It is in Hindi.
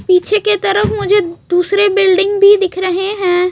पीछे के तरफ मुझे दूसरे बिल्डिंग भी दिख रहे हैं।